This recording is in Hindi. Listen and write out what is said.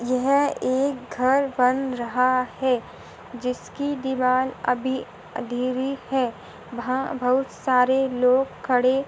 यह एक घर बन रहा है। जिसकी दीवाल अभी अंधेरी है। वह बहुत सारे लोग खड़े--